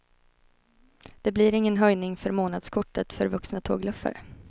Det blir ingen höjning för månadskortet för vuxna tågluffare.